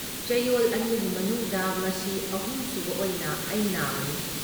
ꯆꯌꯣꯜ ꯑꯅꯤꯒꯤ ꯃꯅꯨꯡꯗ ꯃꯁꯤ ꯑꯍꯨꯝ ꯁꯨꯕ ꯑꯣꯏꯅ ꯑꯩ ꯅꯥꯕꯅꯤ꯫